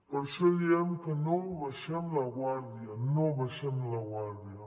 per això diem que no abaixem la guàrdia no abaixem la guàrdia